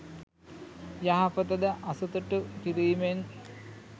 යහපත ද අසතුටු කිරීමෙන්